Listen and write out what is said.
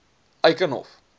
eikenhof